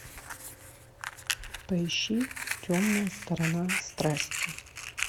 поищи темная сторона страсти